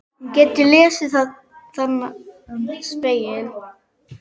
Hún getur lesið þennan spegil.